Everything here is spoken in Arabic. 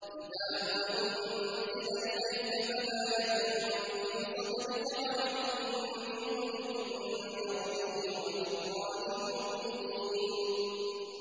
كِتَابٌ أُنزِلَ إِلَيْكَ فَلَا يَكُن فِي صَدْرِكَ حَرَجٌ مِّنْهُ لِتُنذِرَ بِهِ وَذِكْرَىٰ لِلْمُؤْمِنِينَ